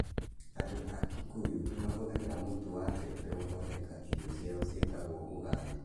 Andũ a Kikuyu nĩ mahũthagĩra mũtu wa mbembe gũthondeka irio ciao iria ciĩtagwo ugali.